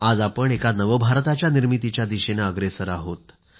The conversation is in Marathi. आज आपण एका नवभारताच्या निर्मितीच्या दिशेनं अग्रेसर आहोत